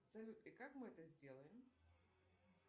салют и как мы это сделаем